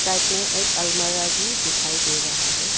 Side में एक अलमारा भी दिखाई दे रहा है।